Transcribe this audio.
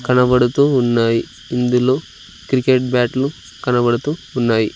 కనబడుతూ ఉన్నాయి ఇందులో క్రికెట్ బ్యాట్లు కనబడుతూ ఉన్నాయి.